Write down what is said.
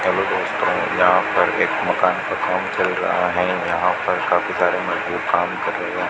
Hello दोस्तो यहां पर एक मकान का काम चल रहा हैं। यहां पर काफी सारे मजदूर काम कर रहे हैं।